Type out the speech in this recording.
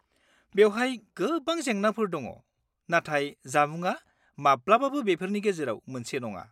-बेवहाय गोबां जेंनाफोर दं नाथाय जामुंआ माब्लाबाबो बेफोरनि गेजेराव मोनसे नङा।